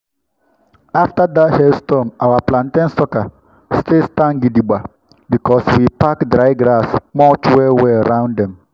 after that hailstorm our plantain sucker still stand gidigba because we pack dry grass mulch well-well round dem.